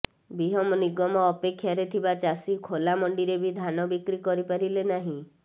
ବିହନ ନିଗମ ଅପେକ୍ଷାରେ ଥିବା ଚାଷୀ ଖୋଲା ମଣ୍ଡିରେ ବି ଧାନ ବିକ୍ରି କରିପାରିଲେ ନାହିଁ